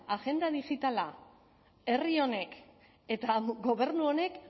agenda digitala herri honek eta gobernu honek